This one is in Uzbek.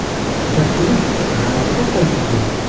Bir kuni g‘alati voqea yuz berdi.